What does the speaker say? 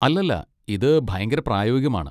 അല്ലല്ല, ഇത് ഭയങ്കര പ്രായോഗികമാണ്.